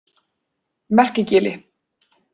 Merkigili